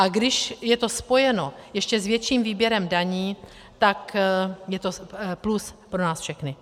A když je to spojeno s ještě větším výběrem daní, tak je to plus pro nás všechny.